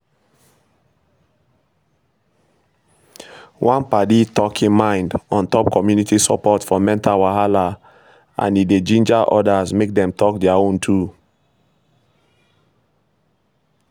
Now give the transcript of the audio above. one padi talk him mind on top community support for mental wahala and e de ginger others make dem talk their own too